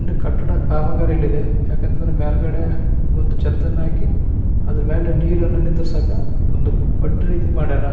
ಇನ್ನು ಕಟ್ಟಡ ಕಾಮಗಾರಿಯಲ್ಲಿದೆ. ಯಾಕಂದ್ರ ಮೇಲ್ಗಡೆ ಒಂದ್ ಚೇತ್ತನ್ ಹಾಕಿ ಅದ್ರ ಮೇಲೆ ನೀರನ್ನ ನಿಂದ್ರಸಾಕ ಒಂದ್ ಪಡ್ದ್ ರೀತಿ ಮಾಡ್ಯಾರ.